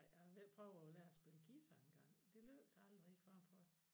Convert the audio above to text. Jeg har været ved at prøve at lære at spille guitar engang det lykkes aldrig rigitg for mig